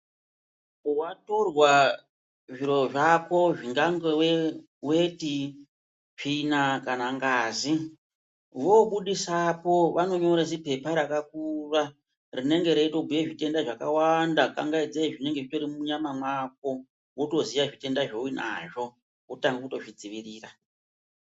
Watorwa zviro zvako zvingangowe weti tsvina kana ngazi vobudisepo vanonyore zipepa rakakura rinenge reitobhuye zvitenda wnda zvakawanda kangaidzei zvinenge zvitori munyama mwako wotoziya zvitenda zvaunenge uinazvo wototanga kutozvidziirira.